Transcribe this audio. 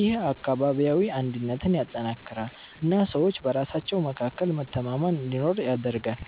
ይህ አካባቢያዊ አንድነትን ያጠናክራል እና ሰዎች በራሳቸው መካከል መተማመን እንዲኖር ያደርጋል።